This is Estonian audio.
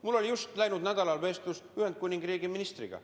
Mul oli just läinud nädalal vestlus Ühendkuningriigi ministriga.